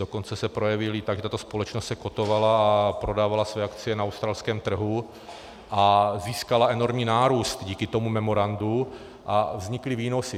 Dokonce se projevily tak, že tato společnost se kotovala a prodávala své akcie na australském trhu a získala enormní nárůst díky tomu memorandu a vznikly výnosy.